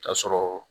K'a sɔrɔ